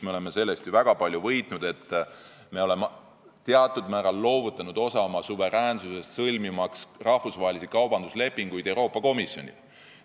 Me oleme sellest ju väga palju võitnud, et me oleme teatud määral loovutanud osa oma suveräänsusest, selleks et rahvusvahelisi kaubanduslepinguid sõlmitaks Euroopa Komisjoniga.